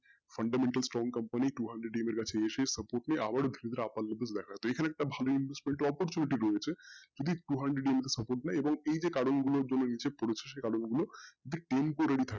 fundamental company two hundred এর কাছে support আবার এসে opportunity দেখা দেয় তো এইখানে একটা ভালোএর support দেখা দেয় যদি temporary নাই এই যে কারণ গুলোর জন্য নিচে পড়েছে যে support